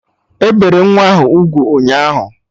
E bere nwa ahụ ugwu ụnyaahụ